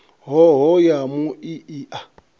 hoho ya mui i a